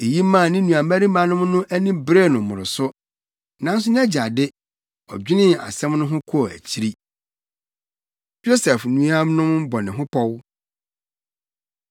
Eyi maa ne nuabarimanom no ani beree no mmoroso. Nanso nʼagya de, ɔdwenee asɛm no ho kɔɔ akyiri. Yosef Nuanom Bɔ Ne Ho Pɔw